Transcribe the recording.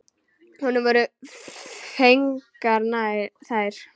Honum voru fengnar þær.